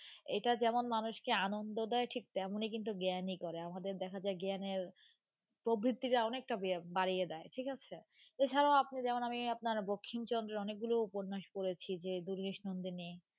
এটা যেমন মানুষকে আনন্দ দেয় ঠিক তেমনি কিন্তু জ্ঞানী করে আমাদের দেখা যায় জ্ঞানের প্রবৃত্তিটা অনেকটা বাড়িয়ে দেয় ঠিক আছে. এছাড়াও যেমন আমি আপনার বঙ্কিমচন্দ্রের অনেকগুলো উপন্যাস পড়েছি যে দুর্গেশ নন্দিনী.